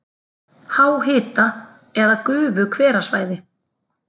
Háhita- eða gufuhverasvæði